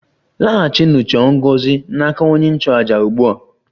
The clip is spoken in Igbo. Laghachinụ chọọ ngọzi n' aka onye nchụàjà ugbu a!